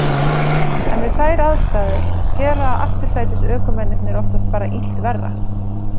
En við þær aðstæður gera aftursætisökumennirnir oftast bara illt verra.